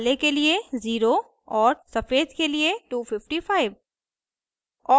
काले के लिए 0 और सफ़ेद के लिए 255